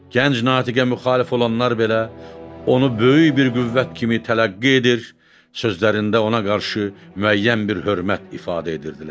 Gənc natiqə müxalif olanlar belə onu böyük bir qüvvət kimi tələqqi edir, sözlərində ona qarşı müəyyən bir hörmət ifadə edirdilər.